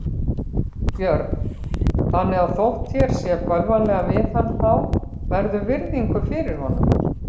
Björn: Þannig að þótt þér sé bölvanlega við hann þá berðu virðingu fyrir honum?